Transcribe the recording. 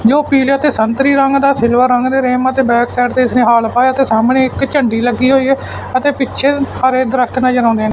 ਜੋ ਪੀਨੇ ਤੇ ਸੰਤਰੀ ਰੰਗ ਦਾ ਸਿਲਵਰ ਰੰਗ ਦੇ ਰੇਮ ਤੇ ਬੈਕ ਸਾਈਡ ਤੇ ਇਸ ਨੇ ਹਾਲ ਪਾਇਆ ਤੇ ਸਾਹਮਣੇ ਇੱਕ ਝੰਡੀ ਲੱਗੀ ਹੋਈ ਹੈ ਅਤੇ ਪਿੱਛੇ ਸਾਰੇ ਦਰਖਤ ਨਜ਼ਰ ਆਉਂਦੇ ਨੇ।